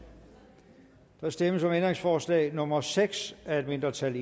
der stemmes om ændringsforslag nummer seks af et mindretal og